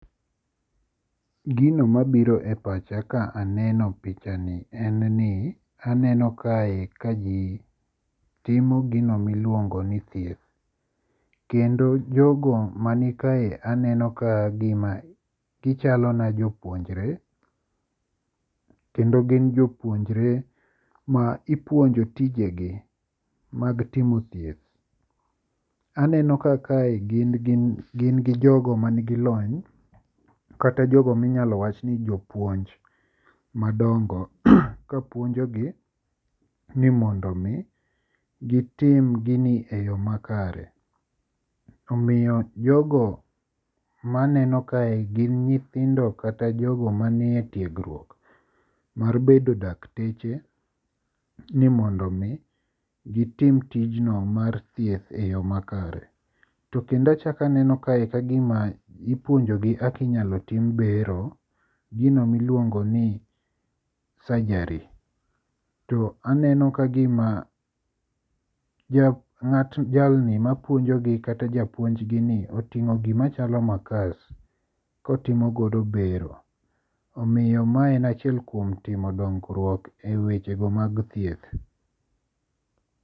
Gino mabiro e pacha ka aneno picha ni en ni aneno kae kaji timo gino miluongo ni thieth. Kendo jogo mani kae aneno kagima gichalo na jo puonjre kendo gin jopuonjre ma ipuonjo tijegi mag timo thieth, aneno kaka kae gin gin gi jogo manigi lony kata jogo ma inyalo wach ni jopuonj madongo kapuonjogi ni mondo m,i gitim gini eyo makare. Omiyo jogo ma aneno kae gin nyithindo kata jogo manie tiegruok mar bedo dakteche ni mondo mi gitim tijno mar thieth eyo makaree. To kendo achako aneno kae kagima ipuonjogi kaka inyalo tim bero gino ma iluono ni surgery to aneno kagima jalni mapuonjogi kata japuonj gi oting'o gima chalo makas kotimo godo bero. Omiyo ma en achiel kuom timo dongruok ewechego mag thieth.